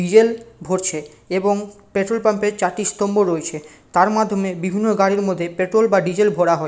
Diesel ভরছে এবং petrol pump এর চারটি স্তম্ভ রয়েছে তার মাধ্যমে বিভিন্ন গাড়ির মধ্যে পেট্রল বা ডিজেল ভরা হয় ।